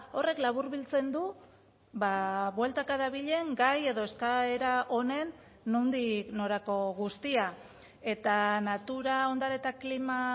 horrek laburbiltzen du bueltaka dabilen gai edo eskaera honen nondik norako guztia eta natura ondare eta klima